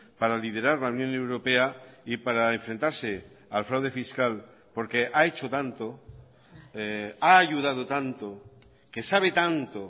para liderar la unión europea y para enfrentarse al fraude fiscal porque ha hecho tanto ha ayudado tanto que sabe tanto